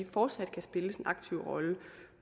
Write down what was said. fortsat kan spille en aktiv rolle